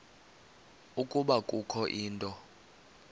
ukuba kukho into